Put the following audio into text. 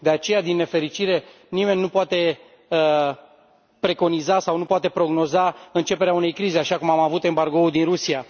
De aceea, din nefericire, nimeni nu poate preconiza sau nu poate prognoza începerea unei crize așa cum am avut embargoul din Rusia.